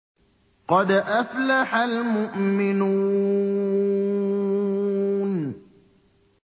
قَدْ أَفْلَحَ الْمُؤْمِنُونَ